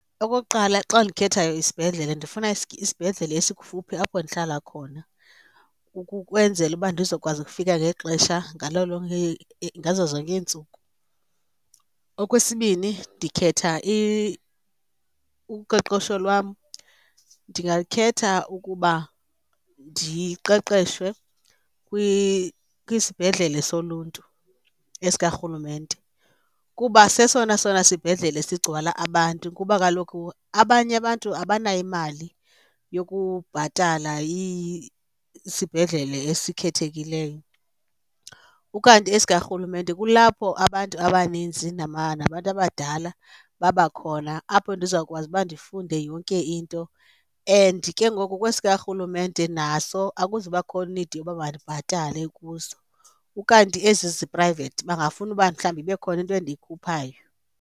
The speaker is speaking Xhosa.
Okokuqala, xa ndikhethayo isibhedlele ndifuna isibhedlele esikufuphi apho ndihlala khona ukwenzela uba ndizokwazi ukufika ngexesha ngalo lonke ngazo zonke iintsuku. Okwesibini, ndikhetha uqeqesho lwam, ndingakhetha ukuba ndiqeqeshwe kwisibhedlele soluntu esikarhulumente kuba sesona sona sibhedlele sigcwala abantu kuba kaloku abanye abantu abanayo imali yokubhatala isibhedlele esikhethekileyo. Ukanti esikarhulumente kulapho abantu abaninzi nabantu abadala babakhona apho ndizawukwazi uba ndifunde yonke into, and ke ngoku kwesikarhulumente naso akuzubakho need yoba mandibhatale kuso. Ukanti ezi ziphrayivethi bangafuni uba mhlawumbi ibe khona into endikhuphayo.